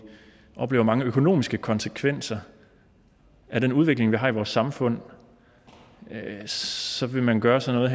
oplever mange økonomiske konsekvenser af den udvikling vi har i vores samfund så vil man gøre sådan